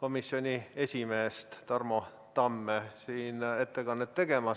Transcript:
komisjoni esimeest Tarmo Tamme siin ettekannet tegemas.